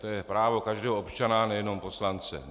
To je právo každého občana, nejenom poslance.